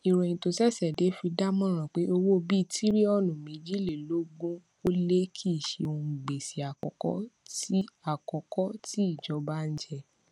ìròyìn tó ṣèṣè dé fi dámòràn pé owó bíitíríònù méjìlélógún ólé kìí ṣe òhun gbèsè àkókó tí àkókó tí ìjọba n jẹ